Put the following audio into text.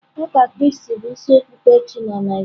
Uka kraisti bụ ịsị okpukpe chi na Naịjirịa.